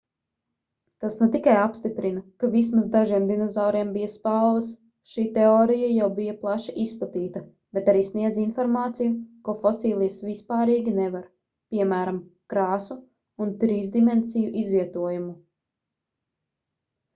tas ne tikai apstiprina ka vismaz dažiem dinozauriem bija spalvas šī teorija jau bija plaši izplatīta bet arī sniedz informāciju ko fosilijas vispārīgi nevar piemēram krāsu un trīsdimensiju izvietojumu